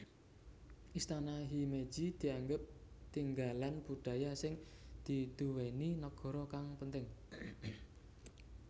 Istana Himeji dianggep tinggalan budaya sing diduweni negara kang penting